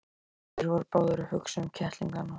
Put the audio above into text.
Þeir voru báðir að hugsa um kettlingana.